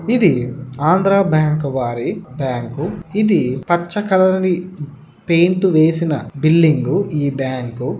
ఇది ఆంధ్రా బ్యాంక్ వారి బ్యాంకు ఇది పచ్చ కలర్ ని పెయింట్ వేసిన బిల్డింగ్ గు ఈ బ్యాంకు.